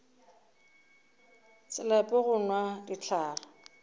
se lape go nwa dihlare